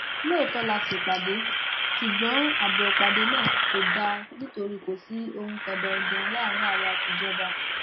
lóòótọ la ṣèpàdé ṣùgbọn ààbò ìpàdé náà kò dáa nítorí kò sí ohun kan danin danin láàrin àwa àtijọba